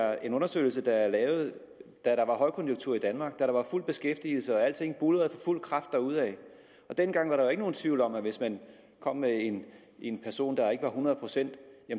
er en undersøgelse der blev lavet da der var højkonjunktur i danmark da der var fuld beskæftigelse og alting buldrede for fuld kraft derudad dengang var der jo ikke nogen tvivl om at hvis man kom med en person der ikke var hundrede procent